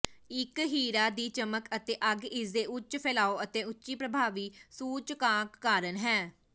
ਇਕ ਹੀਰਾ ਦੀ ਚਮਕ ਅਤੇ ਅੱਗ ਇਸਦੇ ਉੱਚ ਫੈਲਾਅ ਅਤੇ ਉੱਚੀ ਪ੍ਰਭਾਵੀ ਸੂਚਕਾਂਕ ਕਾਰਨ ਹੈ